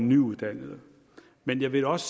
nyuddannede men jeg vil også